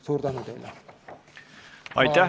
Suur tänu teile!